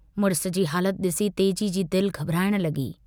मुड़िस जी हालत डिसी तेजी जी दिल घबराइण लगी।